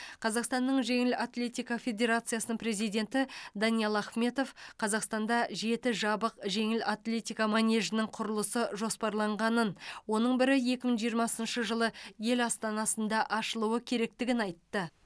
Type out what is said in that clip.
қазақстанның жеңіл атлетика федерациясының президенті даниал ахметов қазақстанда жеті жабық жеңіл атлетика манежінің құрылысы жоспарланғанын оның бірі екі мың жиырмасыншы жылы ел астанасында ашылуы керектігін айтты